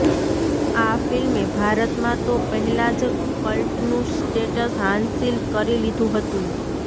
આ ફિલ્મે ભારતમાં તો પહેલા જ કલ્ટનું સ્ટેટ્સ હાંસિલ કરી લીધું હતું